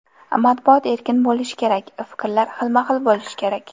Matbuot erkin bo‘lishi kerak, fikrlar xilma-xil bo‘lishi kerak.